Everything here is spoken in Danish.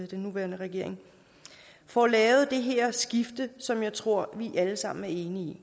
den nuværende regering får lavet det her skifte som jeg tror at vi alle sammen enige